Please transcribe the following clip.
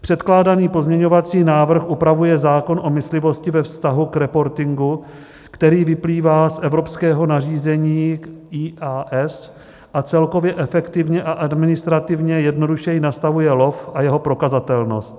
Předkládaný pozměňovací návrh upravuje zákon o myslivosti ve vztahu k reportingu, který vyplývá z evropského nařízení IAS a celkově efektivně a administrativně jednodušeji nastavuje lov a jeho prokazatelnost.